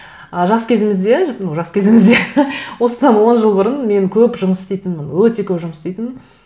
ы жас кезімізде ну жас кезімізде осыдан он жыл бұрын мен көп жұмыс істейтінмін өте көп жұмыс істейтінмін